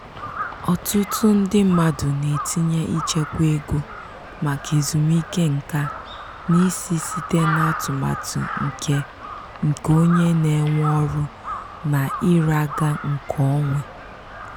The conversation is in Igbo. ọtụtụ ndị mmadụ na-etinye ichekwa ego maka ezumike nka n'isi site n'atụmatụ nke nke onye na-ewe ọrụ na ira ga nke onwe.